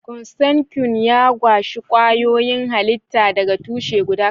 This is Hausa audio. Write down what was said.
Consanguine ya gaji kwayoyin halitta daga tushe guda.